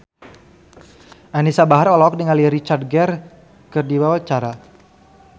Anisa Bahar olohok ningali Richard Gere keur diwawancara